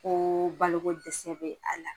Ko balo ko dɛsɛ be a la.